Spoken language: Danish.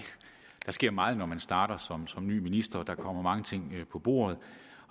der sker meget når man starter som som ny minister og der kommer mange ting på bordet